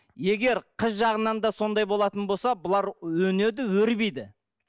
егер қыз жағынан да сондай болатын болса бұлар өнеді өрбиді